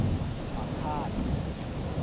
makhasa